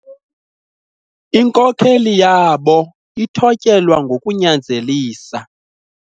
Inkokeli yabo ithotyelwa ngokunyanzelisa.